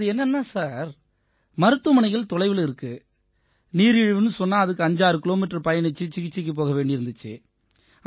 அது என்னென்னா சார் மருத்துவமனைகள் தொலைவுல இருக்கு நீரிழிவுன்னு சொன்னா அதுக்கு 56 கிலோமீட்டர் பயணிச்சு சிகிச்சைக்குப் போக வேண்டியிருந்திச்சு